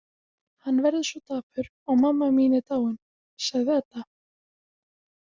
Hann verður svo dapur og mamma mín er dáin, sagði Edda.